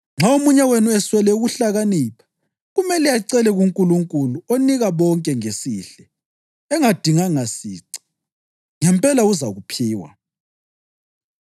Nxa omunye wenu eswela ukuhlakanipha kumele acele kuNkulunkulu onika bonke ngesihle engadinganga sici, ngempela uzakuphiwa.